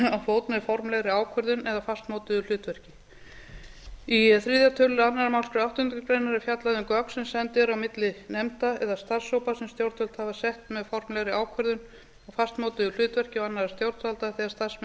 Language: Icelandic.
með formlegri ákvörðun eða fastmótuðu hlutverki í þriðja tölulið annarri málsgrein áttundu grein er fjallað um gögn sem send eru á milli nefnda eða starfshópa sem stjórnvöld hafa sett með formlegri ákvörðun og fastmótuðu hlutverki og annarra stjórnvalda þegar starfsmenn